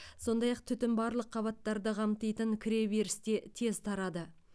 сондай ақ түтін барлық қабаттарды қамтитын кіреберісте тез тарады